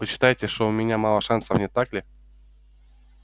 вы считаете что у меня мало шансов не так ли